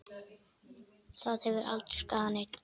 Það hefur aldrei skaðað neinn.